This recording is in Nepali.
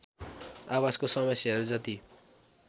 आवासको समस्याहरू जति